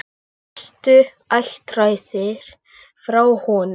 Flestir ættaðir frá honum.